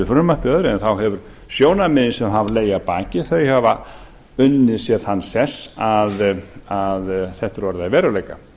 eða öðru þá hafa sjónarmiðin sem hafa legið að baki unnið sér þann sess að þetta er orðið að veruleika